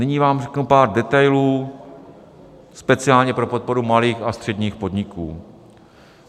Nyní vám řeknu pár detailů speciálně pro podporu malých a středních podniků.